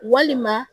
Walima